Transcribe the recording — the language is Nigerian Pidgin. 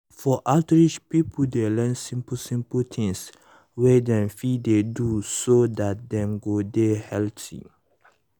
for outreach people dey learn simple simple things wey dem fit dey do so that dem go dey healthy.